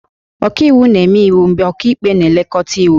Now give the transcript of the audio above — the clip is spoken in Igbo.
Ọkaiwu na-eme iwu mgbe ọkaikpe na-elekọta iwu